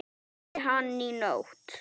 Tísti hann í nótt?